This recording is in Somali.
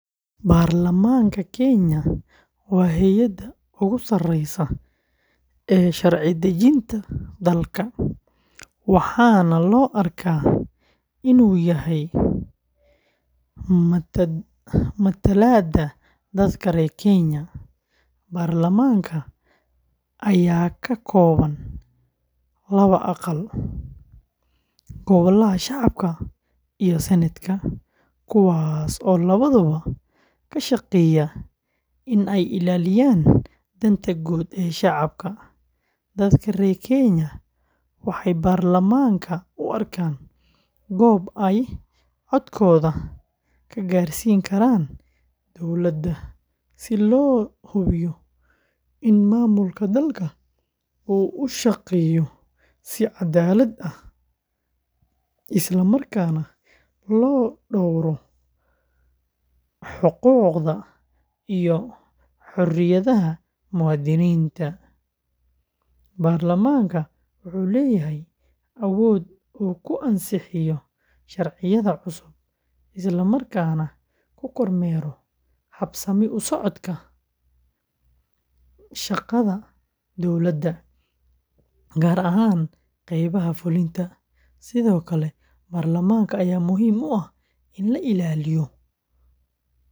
Baarlamaanka Kenya waa hay’adda ugu sareysa ee sharci-dejinta dalka, waxaana loo arkaa in uu yahay matalaadda dadka reer Kenya. Baarlamaanka ayaa ka kooban laba aqal, Golaha Shacabka iyo Senetka, kuwaas oo labaduba ka shaqeeya in ay ilaalinayaan danta guud ee shacabka. Dadka reer Kenya waxay baarlamaanka u arkaan goob ay codkooda ka gaarsiisan karaan dowladda, si loo hubiyo in maamulka dalka uu u shaqeeyo si caddaalad ah, isla markaana loo dhowro xuquuqda iyo xorriyadaha muwaadiniinta. Baarlamaanka wuxuu leeyahay awood uu ku ansixiyo sharciyada cusub, isla markaana ku kormeero habsami u socodka shaqada dowladda, gaar ahaan qaybaha fulinta. Sidoo kale, baarlamaanka ayaa muhiim u ah in la ilaaliyo miisaaniyadda qaranka.